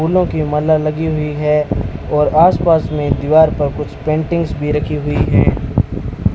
फूलों की माला लगी हुई है और आस पास में दीवार पर कुछ पेंटिंग्स भी रखी हुई हैं।